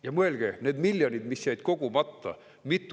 Ja mõelge nendele miljonitele, mis jäid kogumata.